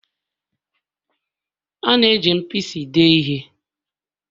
A na-eji mpisi dee ihe